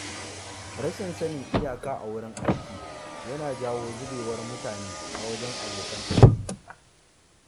Rashin sanin iyaka a wurin aiki yana janyo zubewar mutane a wajen abokan aiki.